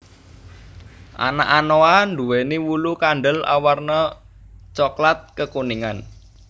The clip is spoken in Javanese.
Anak anoa duwéni wulu kandel awarna coklat kekuningan